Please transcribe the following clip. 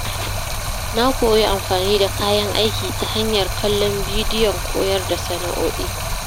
Na koyi amfani da kayan aiki ta hanyar kallon bidiyon koyar da sana’o’i.